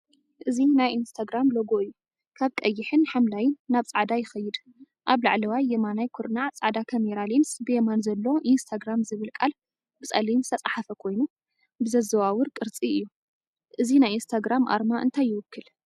እዚ ናይ ኢንስታግራም ሎጎ እዩ። ካብ ቀይሕን ሐምላይን ናብ ጻዕዳ ይኸይድ። ኣብ ላዕለዋይ የማናይ ኩርናዕ ጻዕዳ ካሜራ ሌንስ፣ ብየማን ዘሎ 'ኢንስታግራም' ዝብል ቃል ብጸሊም ዝተጻሕፈ ኮይኑ ብዘዘዋውር ቅርጺ እዩ። እዚ ናይ ኢንስታግራም ኣርማ እንታይ ይውክል?